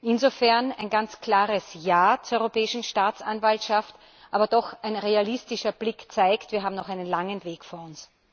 Insofern ein ganz klares Ja zur Europäischen Staatsanwaltschaft, aber ein realistischer Blick zeigt es wir haben noch einen langen Weg vor uns.